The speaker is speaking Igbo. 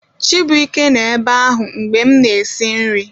Chibuike nọ ebe ahụ mgbe m na-esi nri